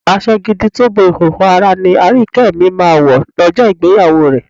Aṣọ gidi tó bo ìhòòhò ara ni Aríyìíkẹ́ mi máa wọ̀ lọ́jọ́ ìgbéyàwó rẹ̀.